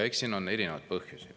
Eks siin on erinevaid põhjusi.